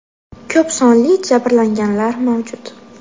Ko‘p sonli jabrlanganlar mavjud.